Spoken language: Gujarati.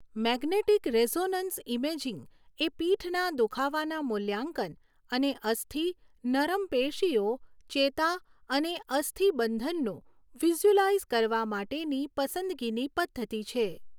મેગ્નેટિક રેઝોનન્સ ઇમેજિંગ એ પીઠના દુખાવાના મૂલ્યાંકન અને અસ્થિ, નરમ પેશીઓ, ચેતા અને અસ્થિબંધનનું વિઝ્યુઅલાઈઝ કરવા માટેની પસંદગીની પદ્ધતિ છે.